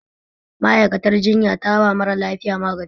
Ma'aikiyar jinya taba mara lafiya magani